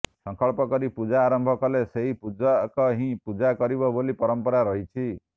ସଂକଳ୍ପ କରି ପୂଜା ଆରମ୍ଭ କଲେ ସେହି ପୂଜକ ହିଁ ପୂଜା କରିବ ବୋଲି ପରମ୍ପରା ରହିଛି